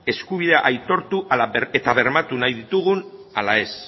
eskubideak aitortu eta bermatu nahi ditugun ala ez